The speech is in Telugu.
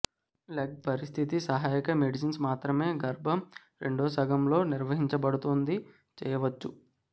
లెగ్ పరిస్థితి సహాయక మెడిసిన్స్ మాత్రమే గర్భం రెండవ సగం లో నిర్వహించబడుతుంది చేయవచ్చు